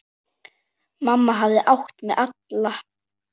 Mamma hafði átt mig alla.